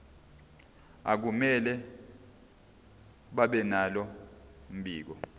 akumele babenalo mbiko